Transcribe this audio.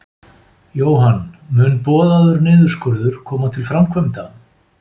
Jóhann: Mun boðaður niðurskurður koma til framkvæmda?